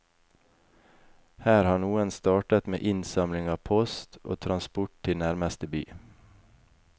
Her har noen startet med innsamling av post, og transport til nærmeste by.